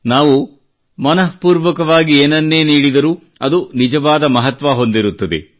ನಾವು ಮನಃಪೂರ್ವಕವಾಗಿ ಏನನ್ನೇ ನೀಡಿದರೂ ಅದು ನಿಜವಾದ ಮಹತ್ವ ಹೊಂದಿರುತ್ತದೆ